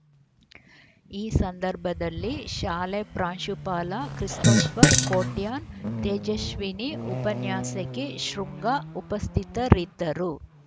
ಈ ಸಂದರ್ಭದಲ್ಲಿ ಶಾಲೆ ಪ್ರಾಂಶುಪಾಲ ಕ್ರಿಸ್ಟೋಫರ್‌ ಕೊಟ್ಯಾನ್‌ ತೇಜಶ್ವಿನಿ ಉಪನ್ಯಾಸಕಿ ಶೃಂಗ ಉಪಸ್ಥಿತರಿದ್ದರು